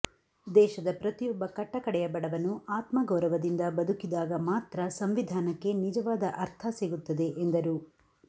ದೇಶದ ಪ್ರತಿಯೊಬ್ಬ ಕಟ್ಟ ಕಡೆಯ ಬಡವನು ಆತ್ಮಗೌರವದಿಂದ ಬದುಕಿದಾಗ ಮಾತ್ರ ಸಂವಿಧಾನಕ್ಕೆ ನಿಜವಾದ ಅರ್ಥ ಸಿಗುತ್ತದೆ ಎಂದರು